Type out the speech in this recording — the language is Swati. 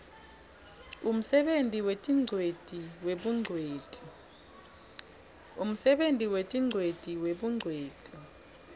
umsebenti wetingcweti webungcweti